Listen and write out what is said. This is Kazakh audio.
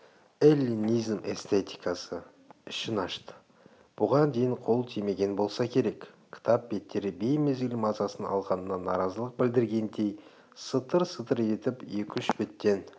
эллинизм эстетикасы ішін ашты бұған дейін қол тимеген болса керек кітап беттері беймезгіл мазасын алғанына наразылық білдіргендей сытыр-сытыр етіп екі-үш беттен